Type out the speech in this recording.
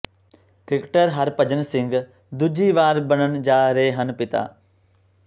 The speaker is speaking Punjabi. ਕ੍ਰਿਕੇਟਰ ਹਰਭਜਨ ਸਿੰਘ ਦੂਜੀ ਵਾਰ ਬਣਨ ਜਾ ਰਹੇ ਹਨ ਪਿਤਾ